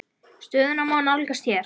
Stöðuna má nálgast hér.